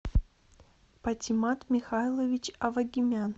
патимат михайлович авагимян